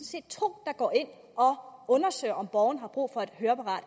set to der går ind og undersøger om borgeren har brug for et høreapparat